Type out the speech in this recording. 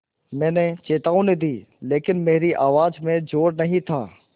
मैंने चेतावनी दी लेकिन मेरी आवाज़ में ज़ोर नहीं था